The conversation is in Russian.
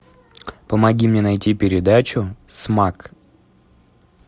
помоги мне найти передачу смак